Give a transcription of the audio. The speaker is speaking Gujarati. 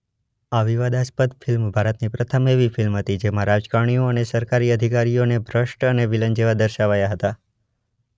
આ વિવાદાસ્પદ ફિલ્મ ભારતની પ્રથમ એવી ફિલ્મ હતી જેમાં રાજકારણીઓ અને સરકારી અધિકારીઓને ભ્રષ્ટ અને વિલન જેવા દર્શાવાયા હતા.